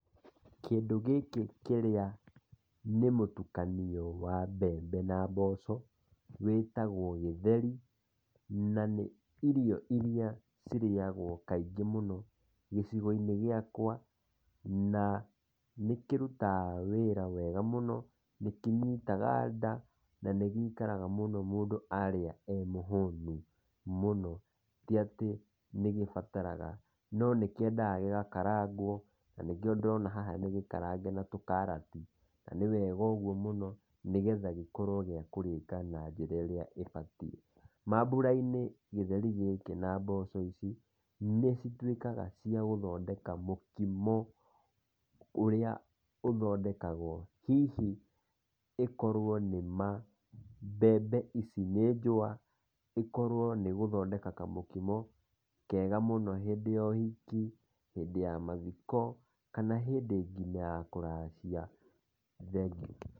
Kĩndũ gĩkĩ kĩrĩa nĩ mũtukanio wa mbembe na mboco, wĩtagwo gĩtheri na nĩ irio ĩrĩa cirĩagwo kaingĩ mũno gĩcigo-inĩ gĩakwa, na nĩ kĩrutaga wĩra wega mũno nĩ kĩnyitaga nda na nĩ gĩikaraga mũno mũndũ arĩa e mũhũnu mũno ti atĩ nĩ gĩbataraga no nĩ kĩendaga gĩgakaragwo na nĩkĩo ndona haha nĩ gĩkarange na tũkarati. Na nĩ wega ũgũo mũno, nĩgetha gĩkorwo gĩa kũrĩka na njĩra ĩrĩa ĩbatie. Mambũra-inĩ gĩtheri gĩkĩ na mboco ici nĩ cituikaga cia gũthodeka mũkimo ũrĩa ũthondekagwo hihi ĩkorwo nĩ ma mbembe ici nĩ njũa, ĩkorwo nĩ igũthodeka kamũkimo kega mũno hĩndĩ ya ũhiki, hĩndĩ ya mathiko kana ngina hĩndĩ ya kũracia ,thengio.